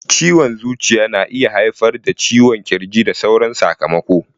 Ciwon zuciya na iya haifar da ciwon kirji da sauran sakamako.